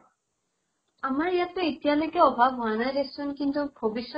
আমাৰ এয়াত তো এতিয়ালৈকে অভাব হোৱা নাই দে চোন কিন্তু ভবিষ্য়ত